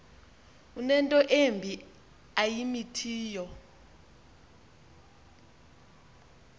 unento embi ayimithiyo